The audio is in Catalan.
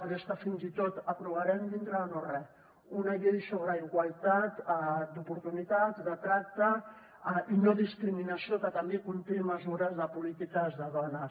però és que fins i tot aprovarem dintre de no re una llei sobre igualtat d’oportunitats de tracte i no discriminació que també conté mesures de polítiques de dones